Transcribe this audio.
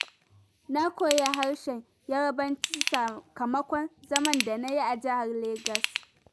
Na koyi harsen Yarabanci, sakamakon zaman da na yi a jihar Legas.